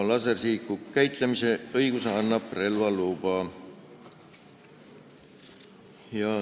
Lasersihiku käitlemise õiguse annab relvaluba.